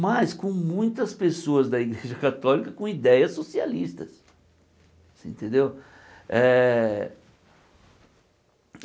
Mas com muitas pessoas da Igreja Católica com ideias socialistas. Você entendeu eh